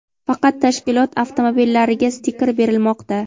faqat tashkilot avtomobillariga stiker berilmoqda.